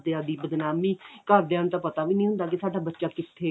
ਘਰਦਿਆਂ ਦੀ ਬਦਨਾਮੀ ਘਰਦਿਆਂ ਨੂੰ ਤਾਂ ਪਤਾ ਵੀ ਨਹੀ ਹੁੰਦਾ ਕਿ ਸਾਡਾ ਬੱਚਾ ਕਿੱਥੇ